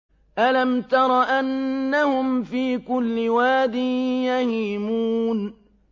أَلَمْ تَرَ أَنَّهُمْ فِي كُلِّ وَادٍ يَهِيمُونَ